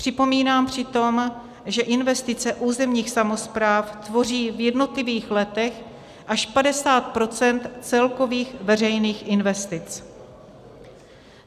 Připomínám přitom, že investice územních samospráv tvoří v jednotlivých letech až 50 % z celkových veřejných investic.